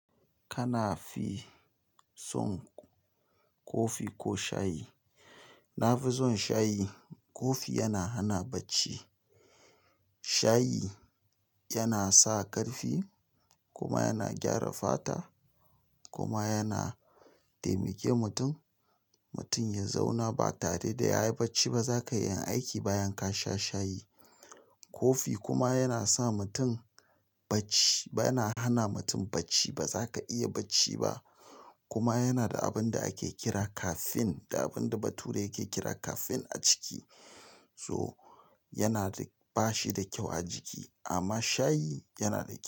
Kana fi son kofi ko shayi? Na fi son shayi. Kofi yana hana bacci, shayi yana sa ƙarfi kuma yana gyara fata kuma yana taimake mutum, mutum ya zauna ba tare da yayi bacci ba zaka iya yin aiki bayan ka sha shayi. Kofi kuma yana sa mutum bacci, yana hana mutum bacci, ba zaka iya bacci ba kuma yana da abin da ake kira caffeine da abin da bature yake kira caffeine a ciki, so yana da, bashi da kyau a jiki amma shayi yana da kyau.